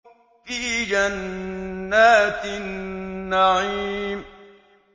فِي جَنَّاتِ النَّعِيمِ